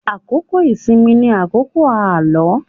Àkókò ìsinmi ni àkókò àlọ́.